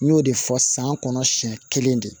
N y'o de fɔ san kɔnɔ siɲɛ kelen de